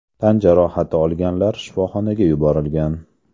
Tan jarohati olganlar shifoxonaga yuborilgan.